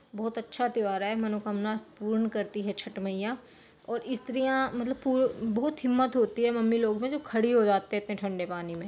बहुत अच्छा त्यौहार है मनोकामना पूर्ण करती है छठ मैंया और स्त्रियाँ पु मतलब बहुत हिम्मत होती है मम्मी लोग में जो खड़ी हो जाती है इतने ठंडे पानी में --